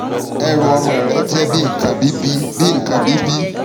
ẹrù ọmọ rẹ jẹ́ bi nǹkan bíbi bi nǹkan bí bí